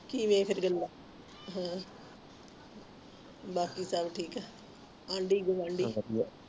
ਹਮ ਕਿ ਫੇਰ ਹਮ ਬਾਕੀ ਸਬ ਠੀਕ ਏ ਆਂਢੀ ਗੁਆਂਢੀ ਸਬ ਵਾਦੀਆਂ